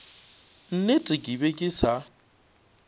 nnete ke be ke sa